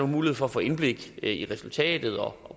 mulighed for at få indblik i resultatet og